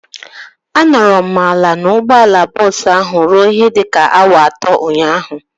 A nọrọ m ala n'ụgbọala bọọsu ahu ruo ihe dịka awa atọ ụnyaahụ